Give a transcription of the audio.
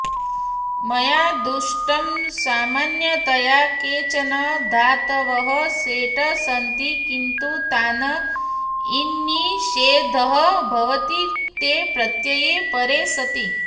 मया दृष्टं सामन्यतया केचन धातवः सेट् सन्ति किन्तु तान् इण्निषेधः भवति क्ते प्रत्यये परे सति